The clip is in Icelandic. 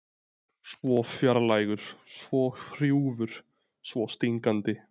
Svo fjarlægur, svo hrjúfur, svo stingandi.